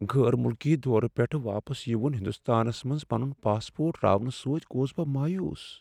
غیر ملکی دورٕ پیٹھہٕ واپس یِوُن ہندستانس منز پنن پاسپورٹ راونہٕ ستۍ گوس بہٕ مایوٗس ۔